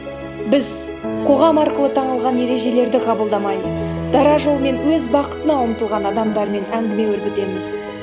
біз қоғам арқылы таңылған ережелерді қабылдамай дара жолмен өз бақытына ұмтылған адамдармен әңгіме өрбітеміз